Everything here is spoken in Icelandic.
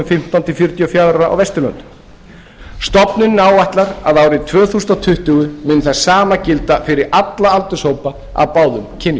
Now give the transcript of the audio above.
fimmtán til fjörutíu og fjögurra ára á vesturlöndum stofnunin áætlar að árið tvö þúsund tuttugu muni það sama gilda fyrir alla aldurshópa af báðum kynjum